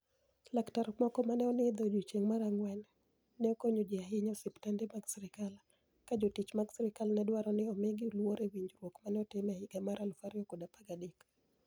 Laktar moko ma ni e onidho e odiechienig ' mar anig'weni, ni e okoniyo ahiniya e osiptanide mag sirkal, ka jotich mag sirkal ni e dwaro nii omigi luor e winijruok ma ni e otim e higa mar 2013.